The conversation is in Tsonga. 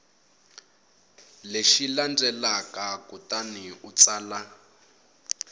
lexi landzelaka kutani u tsala